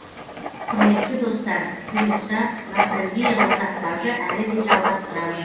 құрметті достар бұйыртса ностальгиялық заттарды әлі де жалғастырамын